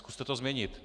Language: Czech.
Zkuste to změnit.